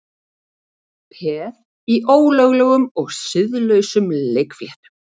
Peð í ólöglegum og siðlausum leikfléttum